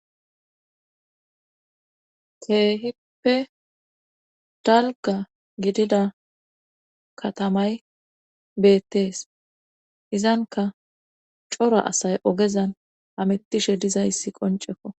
keehippe dalga gidida katamay beettees izanka cora asay ogezan amettishe dizayssi qoncekko